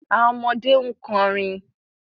Awọn ọmọde n kọrin